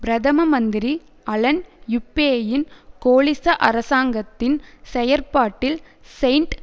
பிரதம மந்திரி அலன் யூப்பேயின் கோலிச அரசாங்கத்தின் செயற்பாட்டில் செயின்ட்